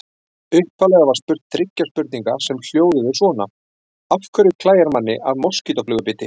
Upphaflega var spurt þriggja spurninga sem hljóðuðu svona: Af hverju klæjar manni af moskítóflugu biti?